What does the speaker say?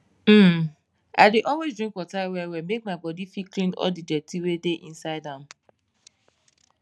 hmm i dey always drink water well well make my bodi fit clean all the dirty wey dey inside am